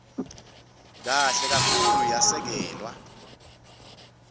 kahle kakhulu yasekelwa